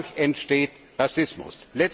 Dadurch entsteht Rassismus.